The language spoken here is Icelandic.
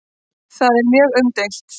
Það er mjög umdeilt.